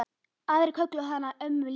Aðrir kölluðu hana ömmu Lillý.